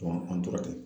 an tora ten